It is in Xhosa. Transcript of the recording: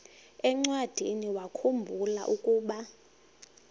encwadiniwakhu mbula ukuba